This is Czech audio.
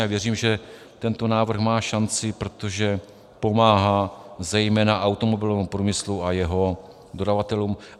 A věřím, že tento návrh má šanci, protože pomáhá zejména automobilovému průmyslu a jeho dodavatelům.